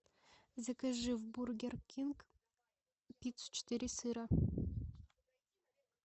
закажи в бургер кинг пиццу четыре сыра